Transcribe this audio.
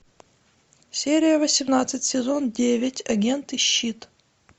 серия восемнадцать сезон девять агенты щит